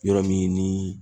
Yɔrɔ min ni